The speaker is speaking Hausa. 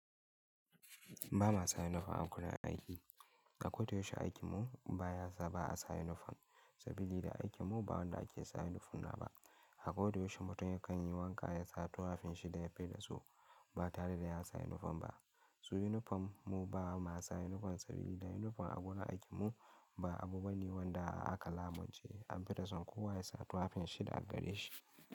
Ba ma sa uniform a gurin aiki. A kodayaushe aiki mu ba ya sa ba a sa uniform, saboda aikin mu ba wanda ake sa yunifom na ba. A kodayaushe mutum ya kan yi wanka ya sa tufafin shi da ya fi so ba tare da ya sa yunifom ba. Su uniform mu ba ma sa uniform saboda da yunifom a gonar aiki mu ba abu bane wanda aka lamunci an faɗa son kowa ya sa tufafin shi da a gare shi.